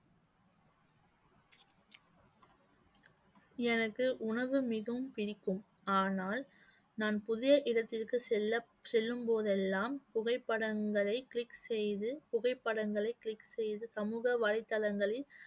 எனக்கு உணவு மிகவும் பிடிக்கும். ஆனால் நான் புதிய இடத்திற்கு செல்ல செல்லும் போதெல்லாம் புகைப்படங்களை click செய்து புகைப்படங்களை click செய்து சமூக வலைத்தளங்களில்